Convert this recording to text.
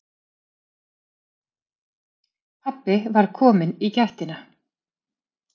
Pabbi var kominn í gættina.